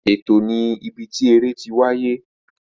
Ètò ni ibi tí eré tí wáyé